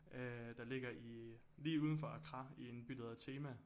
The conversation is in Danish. Øh der ligger lige udenfor Accra i en by der hedder Tema